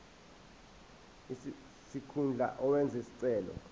sikhundla owenze isicelo